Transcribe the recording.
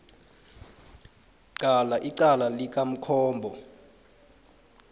qala icala likamkombo